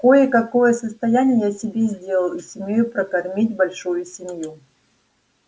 кое-какое состояние я себе сделал и сумею прокормить большую семью